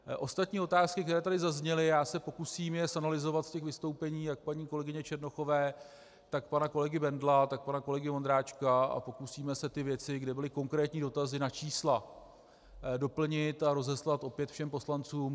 Ostatní otázky, které tady zazněly, já se pokusím je zanalyzovat z těch vystoupení jak paní kolegyně Černochové, tak pana kolegy Bendla, tak pana kolegy Ondráčka a pokusíme se ty věci, kde byly konkrétní dotazy na čísla, doplnit a rozeslat opět všem poslancům.